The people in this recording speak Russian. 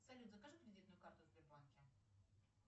салют закажи кредитную карту в сбербанке